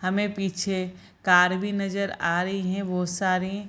हमें पीछे कार भी नजर आ रही है बहोत सारी ।